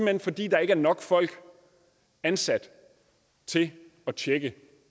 hen fordi der ikke er nok folk ansat til at tjekke